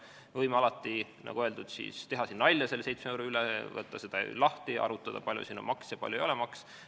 Me võime alati, nagu öeldud, teha siin nalja selle 7 euro üle, võtta seda summat lahti, arutada, kui palju siin läheb maksuks ja kui palju ei lähe maksuks.